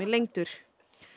lengdur